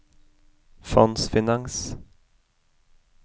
fondsfinans